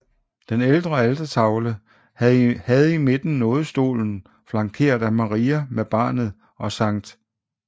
Den ældre altertavle havde i midten nådestolen flankeret af Maria med barnet og Skt